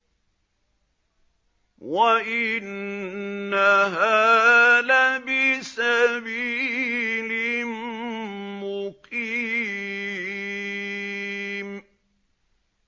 وَإِنَّهَا لَبِسَبِيلٍ مُّقِيمٍ